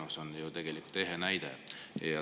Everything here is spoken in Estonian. See on ju ehe näide.